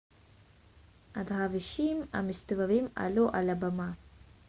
הדרווישים המסתובבים עלו על הבמה